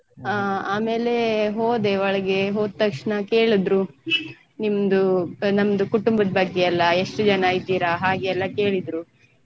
ಹ ಆಮೇಲೆ ಹೋದೆ ಒಳ್ಗೆ ಹೋದ್ ತಕ್ಷಣ ಕೇಳಿದ್ರು ನಿಮ್ದು ನಮ್ದು ಕುಟುಂಬದ್ ಬಗ್ಗೆ ಎಲ್ಲ ಎಷ್ಟು ಜನ ಇದ್ದೀರಾ ಹಾಗೆ ಎಲ್ಲ ಕೇಳಿದ್ರು.